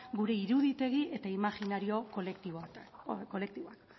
gure iruditegi eta imajinario kolektiboak